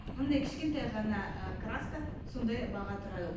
мынадай кішкентай ғана ы краска сондай баға тұрады